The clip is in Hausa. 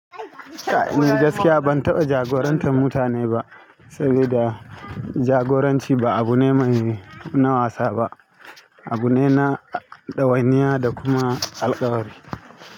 Kai ni gaskiya bantaɓa jagorantar mutane ba, saboda jagoranci ba abune mai, na wasa ba. Abu ne na ɗawainiya da kuma alkawari.